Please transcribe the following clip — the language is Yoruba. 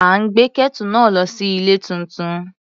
À ń gbé Kẹ́tù náà lọ sí ilé tuntun.